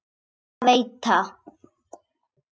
Ekki mun þér af veita.